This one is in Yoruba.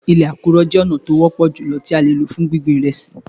Ilẹ̀ àkùrọ̀ jẹ́ ọ̀nà tí ó wọ́pọ̀ jùlọ tí a lò fún gbíngbin ìrẹsì.